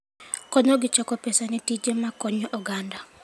Konyogi choko pesa ne tije ma konyo oganda.